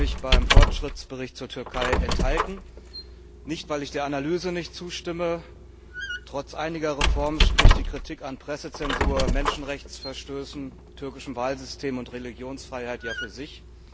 Ich habe mich beim Fortschrittsbericht zur Türkei der Stimme enthalten, aber nicht, weil ich der Analyse nicht zustimme trotz einiger Reformen spricht die Kritik an Pressezensur, Menschenrechtsverstößen, türkischem Wahlsystem und Religionsfreiheit ja für sich.